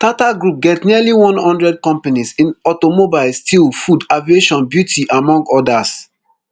tata group get nearly one hundred companies in automobile steel food aviation beauty among odas